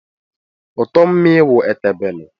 Uto mmii wu ete bele.